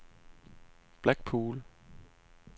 Blackpool